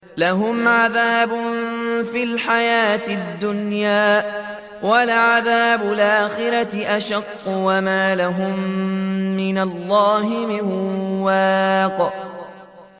لَّهُمْ عَذَابٌ فِي الْحَيَاةِ الدُّنْيَا ۖ وَلَعَذَابُ الْآخِرَةِ أَشَقُّ ۖ وَمَا لَهُم مِّنَ اللَّهِ مِن وَاقٍ